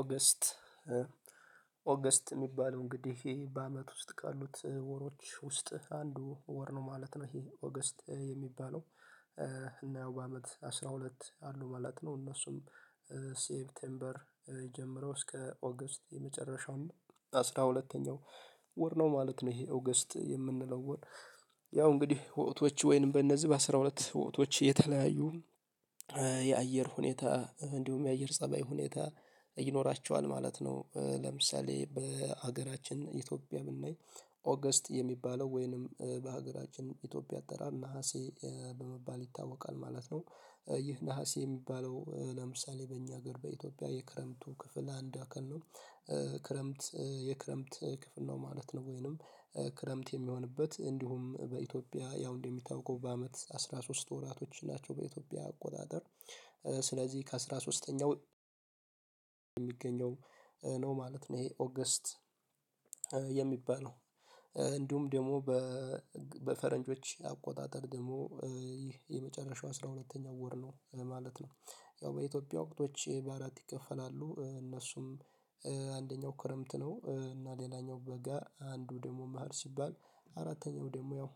ኦገስት ኦገስት የሚባለው እንግዲህ ህይ በአመት ውስጥ ካሉት ወሮች ውስጥ አንዱ ወር ነው ማለት ነው ይሄ ኦገስት የሚባለው። እና በአመት አስራ ሁለት አሉ ማለት ነው። እነሱም ሴፕቴምበር የጀመረው እስከ ኦገስት የመጨረሻውን አስራ ሁለተኛው ወር ነው ማለት ነው። ይሄ ኦገስት የምንለው ወር ያው እንግዲህ ወቅቶች ወይንም በእነዚህ በአስራ ሁለት ወቅቶች የተለያዩ የአየር ሁኔታ እንዲሁም የአየር ፀባይ ሁኔታ ይኖራቸዋል ማለት ነው። ለምሳሌ በሀገራችን ኢትዮጵያ ብናይ ኦገስት የሚባለው ወይንም በሀገራችን ኢትዮጵያ አጠራር ነሀሴ በመባል ይታወቃል ማለት ነው። ይህ ነሀሴ የሚባለው ለምሳሌ በእኛ ሀገር በኢትዮጵያ የክረምቱ ክፍል አንድ አካል ነው። ክረምት የክረምት ክፍል ነው ማለት ነው። ወይንም ክረምት የሚሆንበት እንዲሁም በኢትዮጵያ ያው እንደሚታወቀው በአመት አስራ ሶስት ወራቶች ናቸው በኢትዮጵያ አቆጣጠር። ስለዚህ ከአሥራ ሶስተኛው የሚገኘው ነው ማለት ነው። ይሄ ኦገስት የሚባለው እንዲሁም ደግሞ በፈረንጆች አቆጣጠር ደግሞ ይህ የመጨረሻው አስራ ሁለተኛው ወር ነው ማለት ነው። ያው በኢትዮጵያ ወቅቶች በአራት ይከፈላሉ እነሱም አንደኛው ክረምት ነው እና ሌላኛው በጋ አንዱ ደግሞ መህር ሲባል አራተኛው ደግሞ ያው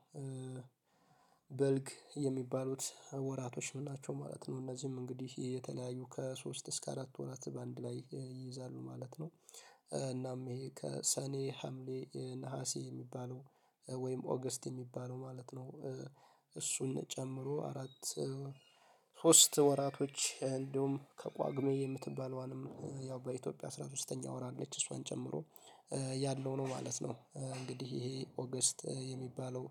በልግ የሚባሉት ወራቶች ናቸው ማለት ነው። እነዚህም እንግዲህ የተለያዩ ከሶስት እስከ አራት ወራት በአንድ ላይ ይይዛሉ ማለት ነው። እናም ይሄ ከሰኔ ሀምሌ ነሀሴ የሚባለው ወይም ኦገስት የሚባለው ማለት ነው። እሱን ጨምሮ አራት ሶስት ወራቶች እንደውም ከቋጉሜ የምትባለዋንም ያው በኢትዮጵያ አስራ ሶስተኛ ወር አለች እሷዋን ጨምሮ ያለው ነው ማለት ነው። እንግዲህ ይሄ ኦገስት የሚባለው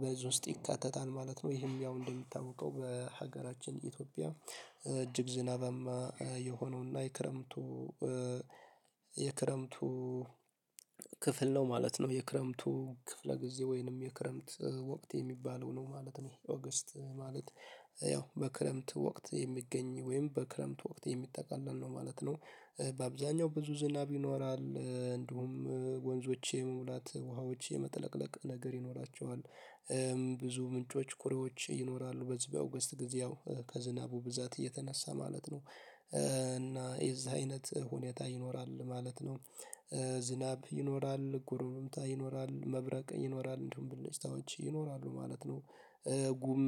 በዝው ውስጥ ይካተታል ማለት ነው። ይሄም ያው እንደምታውቀው በሀገራችን ኢትዮጵያ እጅግ ዝናባማ የሆነውና የክረምቱ የክረምቱ ክፍል ነው ማለት ነው። የክረምቱ ክፍለ ጊዜ ወይንም የክረምት ወቅት የሚባለው ነው ማለት ነው። ኦገስት ማለት ያው በክረምት ወቅት የሚገኝ ወይም በክረምት ወቅት የሚጠቃለል ነው ማለት ነው። በአብዛኛው ብዙ ዝናብ ይኖራል እንዲሁም ወንዞች የመሙላት ውሃዎች የመጥለቅለቅ ነገር ይኖራቸዋል። ብዙ ምንጮች ኩሬዎች ይኖራሉ በዚህ በኦገስት ጊዜ ያው ከዝናቡ ብዛት እየተነሳ ማለት ነው። እና የዚህ አይነት ሁኔታ ይኖራል ማለት ነው። ዝናብ ይኖራል ጉርምታ ይኖራል መብረቅ ይኖራል እንደውም ብልጭታዎች ይኖራሉ ማለት ነው። ጉም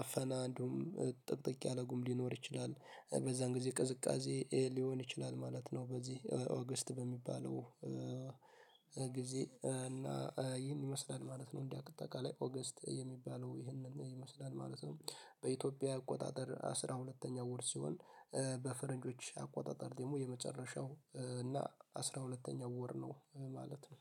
አፈና እንደውም ጥቅጥቅ ያለ ጉም ሊኖር ይችላል። በዛን ጊዜ ቅዝቃዜ ሊሆን ይችላል ማለት ነው። በዚህ ኦገስት በሚባለው ጊዜ እና ይህን ይመስላል ማለት ነው። እንደ አጠቃለይ ኦገስት የሚባለው ይህንን ይመስላል ማለት ነው። በኢትዮጵያ አቆጣጠር አስራ ሁለተኛ ወር ሲሆን በፈረንጆች አቆጣጠር ደግሞ የመጨረሻው እና አስራ ሁለተኛው ወር ነው ማለት ነው።